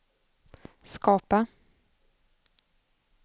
skapa